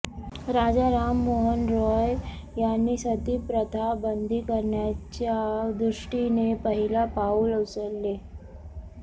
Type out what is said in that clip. राजा राममोहन रॉय यांनी सती प्रथा बंद करण्याच्या दृष्टीने पहिले पाऊल उचलले